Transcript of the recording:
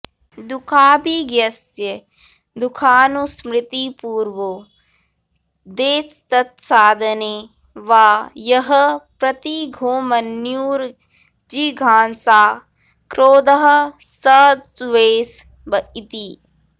दुःखाभिज्ञस्य दुःखानुस्मृतिपूर्वो देस्तत्साधने वा यः प्रतिघो मन्युर्जिघांसा क्रोधः स द्वेष इति